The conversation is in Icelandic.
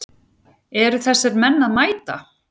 Eru þessir menn að mæta?